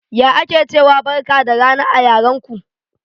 Ya ake ciwa Barka da rana a yaran ko?